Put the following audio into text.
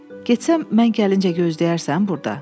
Getsəm mən gəlincə gözləyərsən burda.